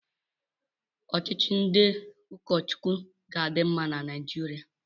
Ọchịchị ndị ụkọ Chukwu ga-adị mma na Naijiria.